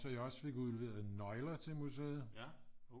Så jeg også fik udleveret nøgler til museet